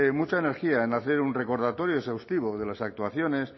mucha energía en hacer un recordatorio exhaustivo de las actuaciones